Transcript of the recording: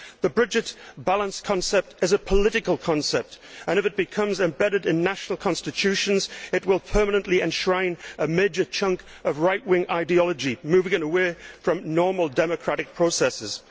The budget balance concept is a political concept, and if it becomes embedded in national constitutions it will permanently enshrine a major chunk of rightwing ideology, moving it away from normal democratic processes.